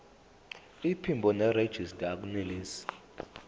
iphimbo nerejista akunelisi